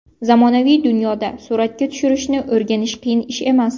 Zamonaviy dunyoda suratga tushirishni o‘rganish qiyin ish emas.